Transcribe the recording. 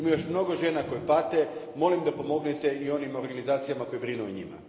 Ima još mnogo žena koje pate, molim da pomognete i onim organizacijama koje brinu o njima.